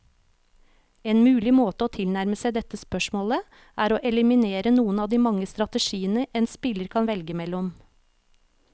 En mulig måte å tilnærme seg dette spørsmålet, er å eliminere noen av de mange strategiene en spiller kan velge mellom.